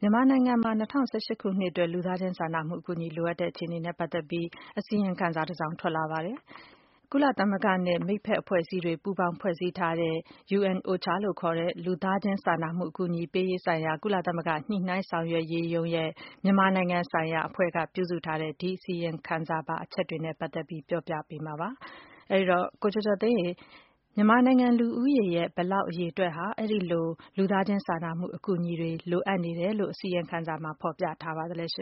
မြန်မာနိုင်ငံမှာ ၂၀၁၈ ခုနှစ်အတွက် လူသားချင်းစာနာမှုအကူအညီ လိုအပ်တဲ့အခြေအနေနဲ့ပတ်သက်ပြီး အစီရင် ခံစာတစောင် ထွက်လာပါတယ်။ ကုလသမဂ္ဂနဲ့ မိတ်ဘက်အဖွဲ့အစည်းတွေ ပူးပေါင်းဖွဲ့စည်းထားတဲ့ UNOCHA လို့ခေါ်တဲ့ လူသား ချင်းစာနာမှု အကူအညီပေးရေးဆိုင်ရာ ကုလသမဂ္ဂ ညှိနှိုင်းဆောင်ရွက်ရေးရုံးရဲ့ မြန်မာနိုင်ငံဆိုင်ရာအဖွဲ့က ပြုစုထားတဲ့ ဒီအစီရင် ခံစာပါ အချက်တွေနဲ့ပတ်သက်ပြီး ပြောပြပါ့မယ်။ ကိုကျော်ကျော်သိန်းက မခွာညိုနဲ့အတူ တင်ဆက်ပေးမှာပါ။ မြန်မာနိုင်ငံလူဦးရေရဲ့ ဘယ်လောက်အရေအတွက်ဟာ အဲဒီလို လူသားချင်းစာနာမှုအကူအညီတွေ လိုအပ်နေတယ်လို့ ဖော်ပြထားပါလဲ။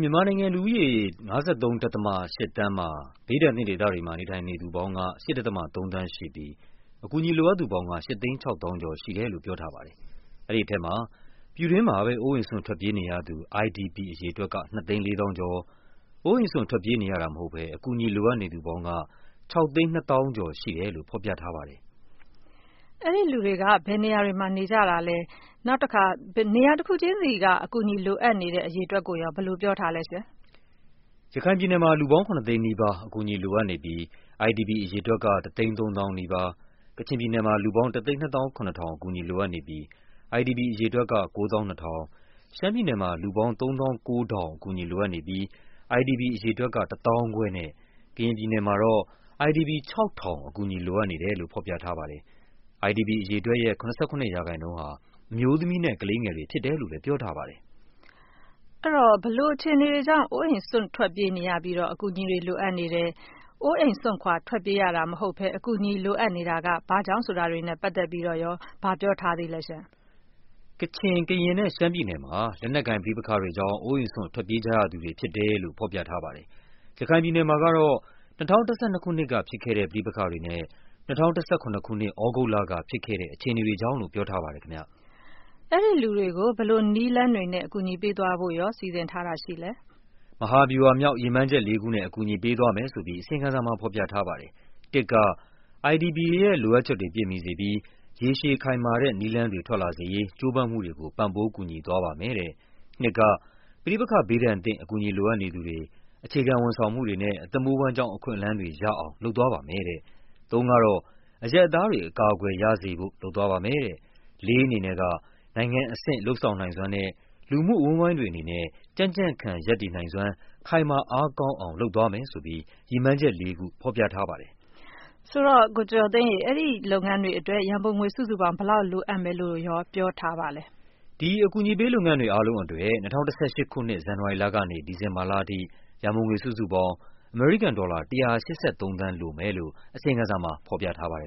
မြန်မာနိုင်ငံလူဦးရေ ၅၃.၈ သန်းမှာ ဘေးဒဏ်သင့်ဒေသတွေမှာ နေထိုင်နေသူပေါင်းက ၈.၃ သန်းရှိပြီး အကူအညီ လိုအပ်သူပေါင်းက ၈ သိန်း ၆ သောင်းကျော်ရှိတယ်လို့ ပြောထားပါတယ်။ အဲဒီထဲမှာ ပြည်တွင်းမှာပဲ အိုးအိမ်စွန့် ထွက်ပြေးနေရ သူ IDP အရေအတွက်က ၂ သိန်း ၄ သောင်းကျော်၊ အိုးအိမ်စွန့်ထွက်ပြေးနေရတာမဟုတ်ဘဲ အကူအညီလိုအပ်နေသူပေါင်းက ၆ သိန်း ၂ သောင်းကျော်ရှိတယ်လို့ ဖော်ပြထားပါတယ်။ အဲဒီလူတွေက ဘယ်နေရာတွေမှာရှိနေကြတာပါလဲ၊ နေရာတခုချင်းစီက အကူအညီလိုအပ်သူ အရေအတွက်ကိုရော ဘယ်လိုပြောထားပါလဲ။ ရခိုင်ပြည်နယ်မှာ လူပေါင်း ၇ သိန်းနီးပါး အကူအညီလိုအပ်နေပြီး IDP အရေအတွက်က ၁ သိန်း ၃ သောင်းနီးပါး၊ ကချင် ပြည်နယ်မှာ လူပေါင်း ၁၂၇၀၀၀ အကူအညီလိုအပ်နေပြီး IDP အရေအတွက်က ၉၂၀၀၀၊ ရှမ်းပြည်နယ်မှာ လူပေါင်း ၃၉၀၀၀ အကူအညီလိုအပ်နေပြီး IDP အရေအတွက်က ၁၅၀၀၀ နဲ့ ကရင်ပြည်နယ်မှာတော့ IDP ၆၀၀၀ အကူအညီလိုအပ်နေတယ်လို့ ဖော်ပြထားပါတယ်။ IDP အရေအတွက်ရဲ့ ၇၇% ဟာ အမျိုးသမီးနဲ့ ကလေးငယ်တွေဖြစ်တယ်လို့လဲ ပြောထားပါတယ်။ ဘယ်လိုအခြေအနေတွေကြောင့် အိုးအိမ်စွန့် ထွက်ပြေးရပြီး အကူအညီလိုအပ်နေတယ်၊ အိုးအိမ်စွန့်ထွက်ပြေးရတာ မဟုတ်ဘဲ အကူအညီလိုအပ်နေတာက ဘာ့ကြောင့်ဆိုတာတွေနဲ့ပတ်သက်ပြီး ဘာပြောထားပါလဲ။ ကချင်၊ ကရင်နဲ့ ရှမ်းပြည်နယ်မှာ လက်နက်ကိုင်ပဋိပက္ခတွေကြောင့် အိုးအိမ်စွန့် ထွက်ပြေးကြရသူတွေဖြစ်တယ်လို့ ဖော်ပြထားပါတယ်။ ရခိုင်ပြည်နယ်မှာကတော့ ၂၀၁၂ ခုနှစ်ကဖြစ်ခဲ့တဲ့ ပဋိပက္ခတွေနဲ့ ၂၀၁၇ ခုနှစ် သြဂုတ်လကဖြစ်ခဲ့တဲ့ အခြေ အနေတွေကြောင့်လို့ ပြောထားပါတယ်။ အဲဒီလူတွေကို ဘယ်လိုနည်းလမ်းတွေနဲ့ အကူအညီပေးသွားဖို့ စီစဉ်ထားပါလဲ။ မဟာဗျူဟာမြောက် ရည်မှန်းချက်လေးခုနဲ့ အကူအညီပေးသွားမယ်ဆိုပြီး အစီရင်ခံစာမှာဖော်ပြထားပါတယ်။ ၁ က IDP တွေရဲ့လိုအပ်ချက်တွေပြည့်မီစေပြီး ရေရှည်ခိုင်မာတဲ့နည်းလမ်းတွေ ထွက်လာစေရေး ကြိုးပမ်းမှုတွေကို ပံ့ပိုးကူညီသွားပါမယ်တဲ့၊ ၂ က ပဋိပက္ခဘေးဒဏ်သင့် အကူအညီလိုအပ်နေသူတွေ အခြေခံဝန်ဆောင်မှုတွေနဲ့ အသက်မွေးဝမ်းကျောင်းအခွင့်အလန်းတွေ ရအောင် လုပ်သွားပါမယ်တဲ့၊ ၃ က အရပ်သားတွေ အကာအကွယ်ရစေဖို့ လုပ်သွားပါမယ်တဲ့၊ ၄ ကတော့ နိုင်ငံအဆင့် လုပ်ဆောင်နိုင်စွမ်းနဲ့ လူမှုအဝန်းအဝိုင်းတွေအနေနဲ့ ကြံ့ကြံ့ခံရပ်တည်နိုင်စွမ်း ခိုင်မာအားကောင်းအောင် လုပ်သွားမယ်ဆိုပြီး ရည်မှန်းချက် ၄ ခု ဖော်ပြထားပါတယ်။ အဲဒီလုပ်ငန်းတွေအတွက် ရန်ပုံငွေ စုစုပေါင်း ဘယ်လောက် လိုအပ်မယ်လို့ ပြောထားပါလဲ။ ဒီ အကူအညီပေးလုပ်ငန်းတွေ အားလုံးအတွက် ၂၀၁၈ ခုနှစ် ဇန်နဝါရီလကနေ ဒီဇင်ဘာလအထိ ရန်ပုံငွေစုစုပေါင်း အမေရိကန်ဒေါ်လာ ၁၈၃ သန်း လိုမယ်လို့ အစီရင်ခံစာမှာ ဖော်ပြထားပါတယ်